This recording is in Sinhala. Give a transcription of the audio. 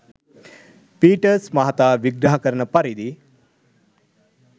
පීටර්ස් මහතා විග්‍රහ කරන පරිදි